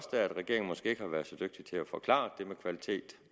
regeringen måske ikke har været så dygtig til at forklare det om kvalitet